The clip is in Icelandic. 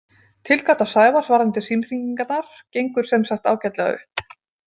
Tilgáta Sævars varðandi símhringingarnar gengur sem sagt ágætlega upp.